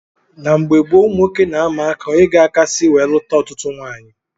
N' mgbe gboo ụmụnwoke na- ama aka ónyé ga akasị wee lụta ọtụtụ nwaanyị.